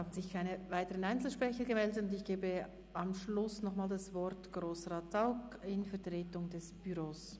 Ich gebe am Schluss das Wort nochmals Grossrat Zaugg in Vertretung des Büros.